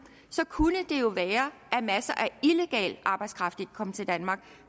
så kunne det jo være at masser af illegal arbejdskraft ikke kom til danmark